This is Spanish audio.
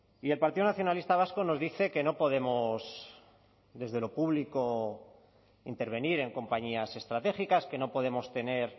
y el partido nacionalista vasco nos dice que no podemos desde lo público intervenir en compañías estratégicas que no podemos tener